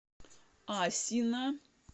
асино